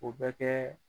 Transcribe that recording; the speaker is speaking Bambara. O bɛ kɛ